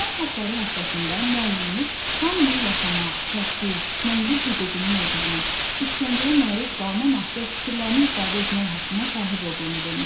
İnsan haqları həftəsində müəllimimiz hamının yaşamaq, təhsil, mənzil hüququnun olduğunu, işgəncəyə məruz qalmamaq və fikirlərini ifadə etmək haqqına sahib olduğunu demişdi.